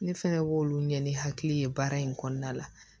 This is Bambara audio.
Ne fɛnɛ b'olu ɲɛ ni hakili ye baara in kɔnɔna la